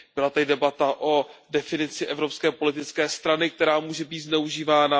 Byla tady debata o definici evropské politické strany, která může být zneužívána.